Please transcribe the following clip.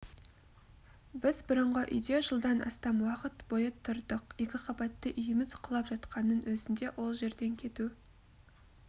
біз бұрынғы үйде жылдан астам уақыт бойы тұрдық екіқабатты үйіміз құлап жатқанның өзінде ол жерден кету